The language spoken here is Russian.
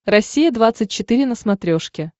россия двадцать четыре на смотрешке